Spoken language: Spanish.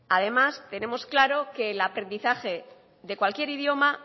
además tenemos claro que el aprendizaje de cualquier idioma